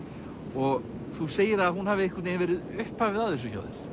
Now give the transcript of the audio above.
og þú segir að hún hafi einhvern veginn verið upphafið að þessu hjá þér